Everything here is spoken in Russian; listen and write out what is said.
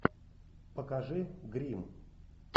покажи гримм